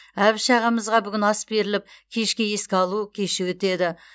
әбіш ағамызға бүгін ас беріліп кешке еске алу кеші өтеді